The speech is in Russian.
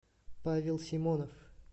павел симонов